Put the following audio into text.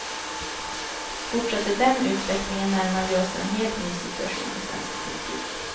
Fortsätter den utvecklingen närmar vi oss en helt ny situation i svensk politik.